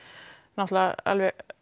náttúrulega alveg